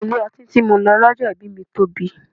Ilé ọtí tí mo lọ lọ́jọ́ ìbí mi tóbi.